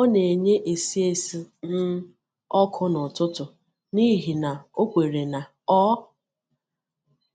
Ọ na-enyé esi esi um ọkụ n’ụtụtụ n’ihi na ọ kwèrè na ọ